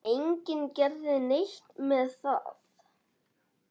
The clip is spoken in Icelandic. Enginn gerði neitt með það.